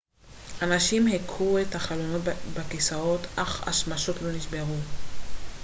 אנשים הכו את החלונות בכיסאות אך השמשות לא נשברו